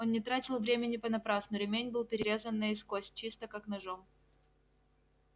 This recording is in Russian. он не тратил времени понапрасну ремень был перерезан наискось чисто как ножом